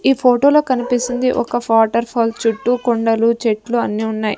ఈ ఫోటో లో కనిపిస్తుంది ఒక ఫాటర్ ఫాల్ చుట్టూ కొండలు చెట్లు అన్నీ ఉన్నాయి.